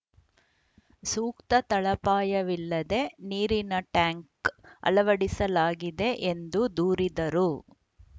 ಸೂಕ್ತ ತಳಪಾಯವಿಲ್ಲದೆ ನೀರಿನ ಟ್ಯಾಂಕ್‌ ಅಳವಡಿಸಲಾಗಿದೆ ಎಂದು ದೂರಿದರು